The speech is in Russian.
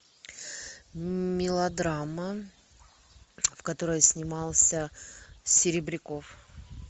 мелодрама в которой снимался серебряков